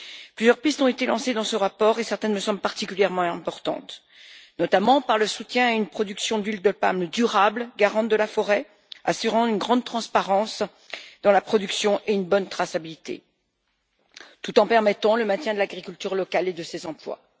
Plusieurs pistes ont été lancées dans ce rapport et certaines me semblent particulièrement importantes, notamment le soutien d'une production d'huile de palme durable, garante de la forêt, qui assure une grande transparence dans la production et une bonne traçabilité tout en permettant le maintien de l'agriculture locale et de ses emplois.